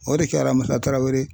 O de kɛra Musa Tarawere